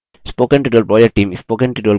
spoken tutorial project team